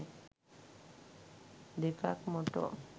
දෙකක් මොටෝ